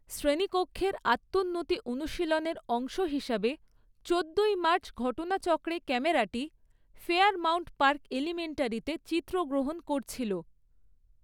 শ্রেণীকক্ষের আত্মোন্নতি অনুশীলনের অংশ হিসাবে চোদ্দোই মার্চ ঘটনাচক্রে ক্যামেরাটি ফেয়ারমাউন্ট পার্ক এলিমেন্টারিতে চিত্রগ্রহণ করছিল।